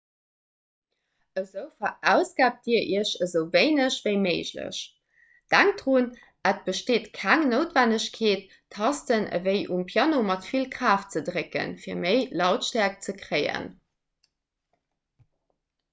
esou verausgaabt dir iech esou wéineg ewéi méiglech denkt drun et besteet keng noutwennegkeet d'tasten ewéi um piano mat vill kraaft ze drécken fir méi lautstäerkt ze kréien